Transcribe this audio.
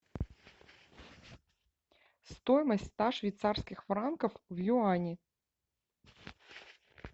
стоимость ста швейцарских франков в юани